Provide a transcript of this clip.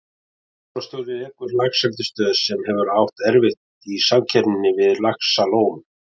Veiðimálastjóri rekur laxeldisstöð, sem hefur átt erfitt í samkeppninni við Laxalón.